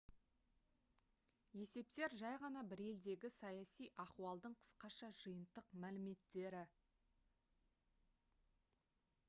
есептер жай ғана бір елдегі саяси ахуалдың қысқаша жиынтық мәліметтері